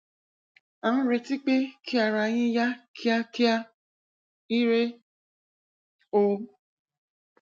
à ń retí pé kí ara yín yá kíákíá ire o